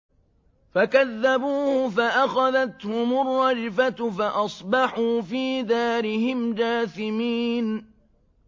فَكَذَّبُوهُ فَأَخَذَتْهُمُ الرَّجْفَةُ فَأَصْبَحُوا فِي دَارِهِمْ جَاثِمِينَ